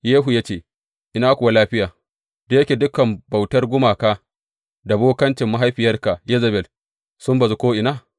Yehu ya ce, Ina kuwa lafiya, da yake dukan bautar gumaka da bokancin mahaifiyarka Yezebel sun bazu ko’ina?